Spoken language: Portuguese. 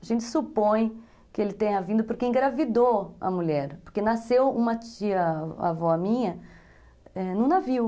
A gente supõe que ele tenha vindo porque engravidou a mulher, porque nasceu uma tia, avó minha, num navio.